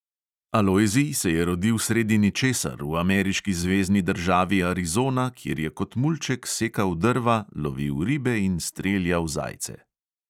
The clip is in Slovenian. Alojzij se je rodil sredi ničesar v ameriški zvezni državi arizona, kjer je kot mulček sekal drva, lovil ribe in streljal zajce.